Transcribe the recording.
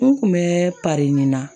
N kun bɛ parin na